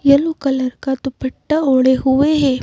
Yellow colour का दुपट्टा ओड़े हुए है।